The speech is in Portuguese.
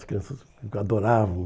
As crianças adoravam.